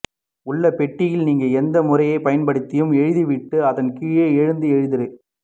உள்ள பெட்டியில் நீங்கள் எந்த முறையைப் பயன்படுத்தியும் எழுதிவிட்டு அதன் கீழே எந்த எழுத்துரு